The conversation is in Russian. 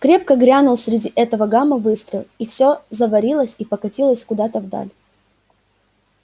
крепко грянул среди этого гама выстрел и всё заварилось и покатилось куда-то вдаль